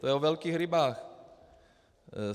To je o velkých rybách.